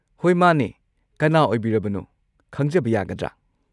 ꯍꯣꯏ ꯃꯥꯅꯦ, ꯀꯅꯥ ꯑꯣꯏꯕꯤꯔꯕꯅꯣ ꯈꯪꯖꯕ ꯌꯥꯒꯗ꯭ꯔ?